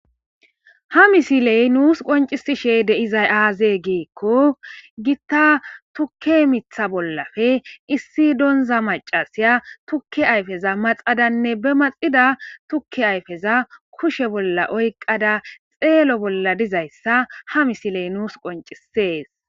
Ha misiley nuusi qonccisishe de'izayi aaze gizayssa gidikko;gita miththa tukke bollappe issi donzza maccasaya tukke ayppeza maxadanne be maxida tukke ayfeza kushe bolla oykkada xeelo bolla dizayssa ha misiley nuusu qoncciseesi.